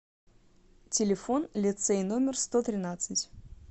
телефон лицей номер сто тринадцать